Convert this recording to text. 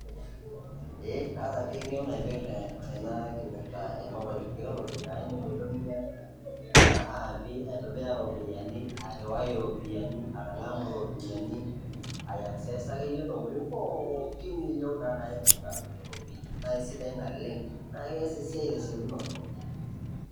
Eeh kaata pii eng'eno naipirta ena kipirta e mobile technology a indim aitumia kuna aapi, aitobira iropiani, airiwai iropiani, atang'amu iropiani, aiaccessa akeye ntokitin pookin ino naa naipirta eropia nae sidai naleng' naake ees esia te siokinoto.